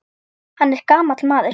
Hann er gamall maður.